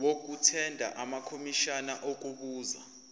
okuthenda amakomishana okubuza